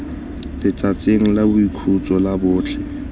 letsatsing la boikhutso la botlhe